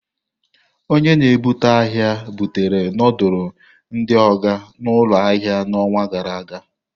Onye na-ebubata ahia butere ndulu ndi Oga n'ụlọ ahịa n'ọnwa gara aga.